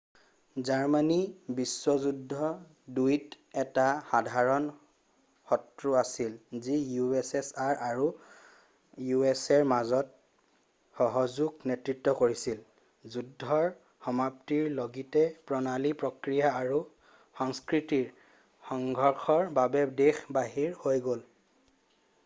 Germany বিশ্ব যুদ্ধ ২ ত এটা সাধাৰণ শত্ৰু আছিল যি ussr আৰু usaৰ মাজত সহযোগৰ নেতৃত্ব কৰিছিল । যুদ্ধৰ সমাপ্তিৰ লগীতে প্ৰণালী প্ৰক্ৰিয়া আৰু সংস্কৃতিৰ সংঘৰ্ষৰ বাবে দেশ বাহিৰ হৈ গল।